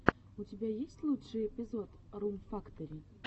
у тебя есть лучший эпизод рум фактори